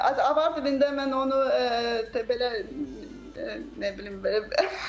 Avar dilində mən onu belə nə bilim, belə